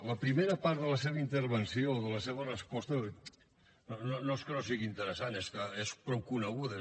la primera part de la seva intervenció de la seva resposta no és que no sigui interessant és que és prou coneguda